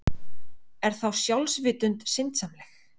Er þá sjálfsvitund syndsamleg?